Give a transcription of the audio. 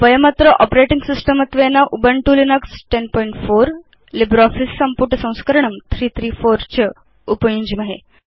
वयमत्र operating system त्वेन Ubuntu Linux 1004 LibreOffice संपुटसंस्करणं 334 च उपयुञ्ज्महे